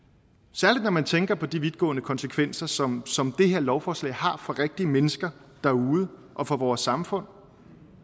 særlig når man tænker på de vidtgående konsekvenser som som det her lovforslag har for rigtige mennesker derude og for vores samfund